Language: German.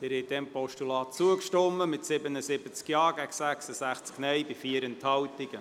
Sie haben diesem Postulat zugestimmt mit 77 Ja- zu 66 Nein-Stimmen bei 4 Enthaltungen.